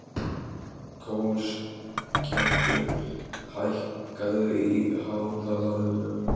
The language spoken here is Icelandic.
Kolskeggur, hækkaðu í hátalaranum.